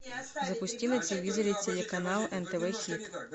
запусти на телевизоре телеканал нтв хит